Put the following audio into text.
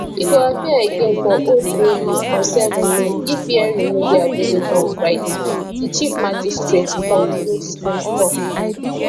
e go appear again for old bailey on 7 may if hearing no dey available on friday di chief magistrate paul goldspring tok